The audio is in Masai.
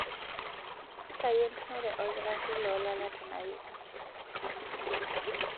ntayu entumore olkitari loo lala tena wiki